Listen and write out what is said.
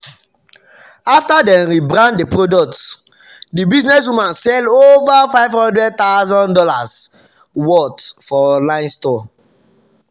after dem rebrand the product the businesswoman sell over fifty thousand dollars0 worth for online store.